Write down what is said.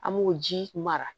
An b'o ji mara